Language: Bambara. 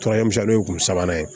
Tɔrɔ ɲɛ misɛnnin ye kunbanan ye